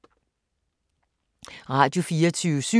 Radio24syv